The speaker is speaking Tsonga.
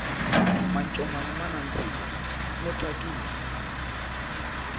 mancomani ma nandziha no tsakisa